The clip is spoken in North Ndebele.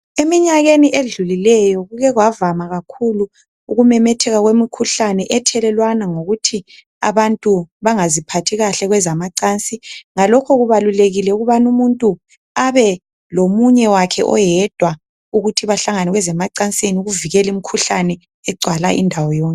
Eminyakeni edlulileyo kuke kwavama kakhulu ukumemetheka kwemikhuhlane ethelelwana ngokuthi abantu bengaziphathikahle kwezamacansi , ngalokho kubalulekile ukubana umuntu abe lomunye wakhe oyedwa ukuthi behlangene kwezamacansini ukuvikela imkhuhlane egcwala indawo yonke